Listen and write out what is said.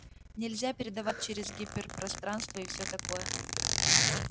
нельзя передавать через гиперпространство и всё такое